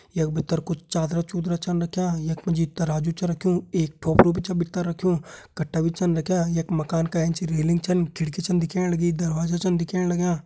यख भीतर कुछ चादर चुदर छन रख्यां यख मा जी तराजू छ रक्युं एक टोकरा भी छ भीतर रख्युं कट्टा भी छन रख्यां यख मकान का एंच रेलिंग छन खिड़की छ दिखेण लगीं दरवाजा छन दिहेण लग्यां।